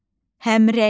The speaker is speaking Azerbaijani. Həmrəylik.